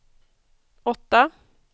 åtta